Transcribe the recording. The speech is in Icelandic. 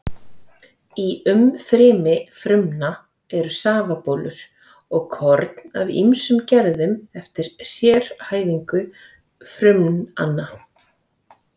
Í umfrymi frumna eru safabólur og korn af ýmsum gerðum eftir sérhæfingu frumnanna.